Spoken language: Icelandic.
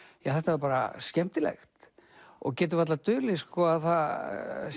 ja þetta var bara skemmtilegt og getur varla dulið að það